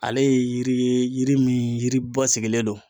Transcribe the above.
Ale ye yiri ye, yiri min yiri ba sigilen don.